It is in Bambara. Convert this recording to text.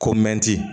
Ko mɛti